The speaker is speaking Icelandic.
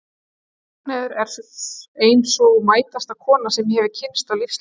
Ragnheiður er ein sú mætasta kona sem ég hef kynnst á lífsleiðinni.